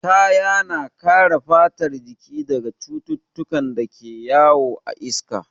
Kaya na kare fatar jiki daga cututtukan da ke yawo a iska.